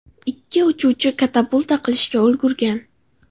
Ikki uchuvchi katapulta qilishga ulgurgan.